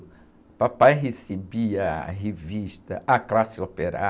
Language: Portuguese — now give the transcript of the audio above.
O papai recebia a revista A Classe Operária,